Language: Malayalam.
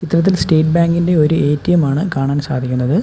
ചിത്രത്തിൽ സ്റ്റേറ്റ് ബാങ്ക് ഇന്റെ ഒരു എ_ടി_എം ആണ് കാണാൻ സാധിക്കുന്നത്.